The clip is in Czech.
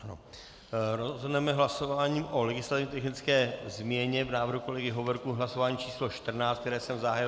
Rozhodneme hlasováním o legislativně technické změně v návrhu kolegy Hovorky v hlasování číslo 14, které jsem zahájil.